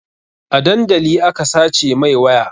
A dandali aka sace mai waya